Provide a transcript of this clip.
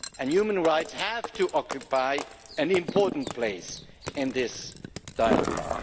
Human rights have to occupy an important place in this dialogue.